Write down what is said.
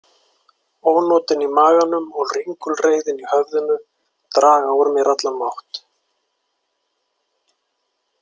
Ónotin í maganum og ringulreiðin í höfðinu draga úr mér allan mátt.